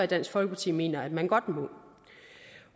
dansk folkeparti mener at man godt må